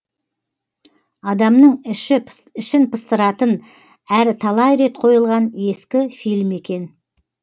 адамның ішін пыстыратын әрі талай рет қойылған ескі фильм екен